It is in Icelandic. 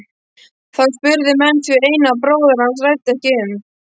Þá spurðu menn hví Einar bróðir hans ræddi ekki um.